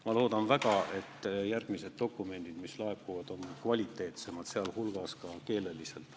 Ma loodan väga, et järgmised dokumendid, mis laekuvad, on kvaliteetsemad, ka keeleliselt.